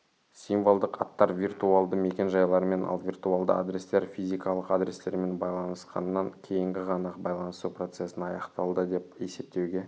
символдық аттар виртуалды мекен-жайлармен ал виртуалды адрестер физикалық адрестермен байланысқаннан кейінгі ғана байланысу процесін аяқталды деп есептеуге